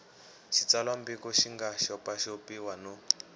xitsalwambiko xi nga xopaxopiwa no